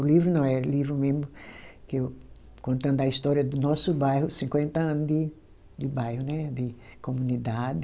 O livro não é livro mesmo que eu, contando a história do nosso bairro, cinquenta ano de de bairro né, de comunidade.